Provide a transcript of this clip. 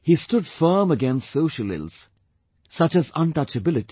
He stood firm against social ills such as untouchability